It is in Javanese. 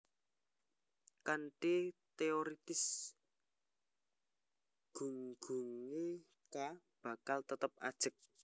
Kanthi teoritis gunggungé k bakal tetep ajeg